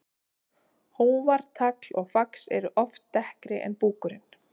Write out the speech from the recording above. Hófar, tagl og fax eru oft dekkri en búkurinn.